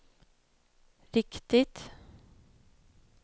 riktigt